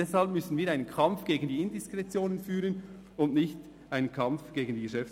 Deshalb müssen wir einen Kampf gegen die Indiskretion führen und nicht einen Kampf gegen die GPK.